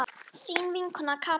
Þín vinkona Katrín Lóa.